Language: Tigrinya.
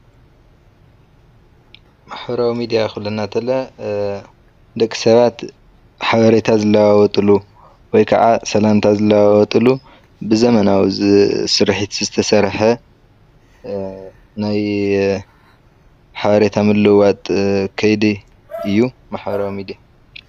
ማሕበራዊ ሚድያ ክብለና ከሎ ደቂ ሰባት ሓበሬታ ዝለዋወጥሉ ወይከዓ ሰላምታ ዝለዋወጥሉ ብዘመናዊ ስሪሒት ዝተሰርሐ ናይ ሓበሬታ ምልውዋጥ ከይዲ እዩ ማሕበራዊ ሚድያ።